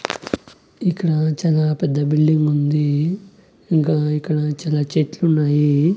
ఇక్కడ చాలా పెద్ద బిల్డింగ్ ఉంది ఇంకా ఇక్కడ చాలా చెట్లు ఉన్నాయి.